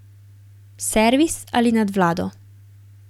Servis ali nadvlado?